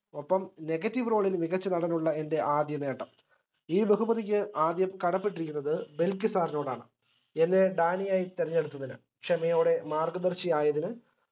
ഒപ്പം negative role ൽ മികച്ച നടനുള്ള എന്റെ ആദ്യനേട്ടം ഈ ബഹുമതിക്ക് ആദ്യം കടപ്പെട്ടിരിക്കുന്നത് ബൽക്കി sir നോടാണ് എന്നെ ഡാനിയായി തെരഞ്ഞെടുത്തതിന് ക്ഷമയോടെ മാർഗ്ഗദർശി ആയതിന്